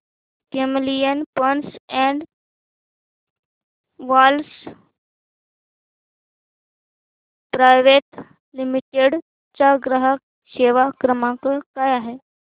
Camlin pumps and valves private limited चा ग्राहक सेवा क्रमांक काय आहे